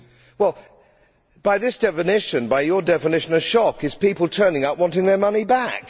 Well, by that definition by your definition a shock is people turning up wanting their money back.